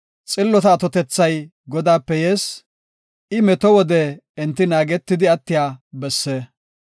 Xillota atotethay Godaape yees; I meto wode enti naagetidi attiya besse.